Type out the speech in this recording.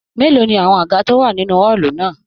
Mélòó ní àwọn àga to wà nínú ọọlu náà?